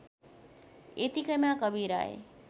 यतिकैमा कवीर आए